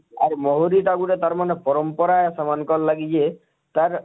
ଆର ମହୁରୀ ଟା ଗୁଟେ ତାର ମାନେ ପରମ୍ପରା ଆଏ ସେମାନଙ୍କର ଲାଗି ଯେ ତାର